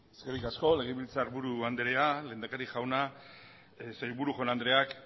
eskerrik asko legebiltzarburu anderea lehendakari jauna sailburu jaun andreak